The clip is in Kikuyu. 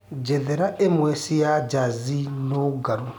njetheraĩmwe cĩa jazi nungaru